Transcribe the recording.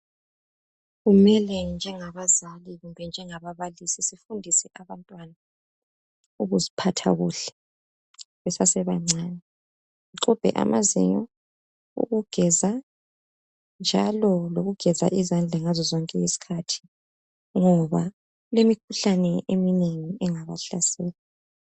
Kumele njengabazali kumbe njengababalisi sifundise abantwana ukuziphatha kuhle besase bancane. Bexubhe amazinyo, ukugeza njalo lokugeza izandla ngaso sonke isikhathi ngoba kulemikhuhlane eminengi engabahlasela.